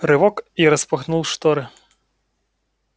рывок я распахнул шторы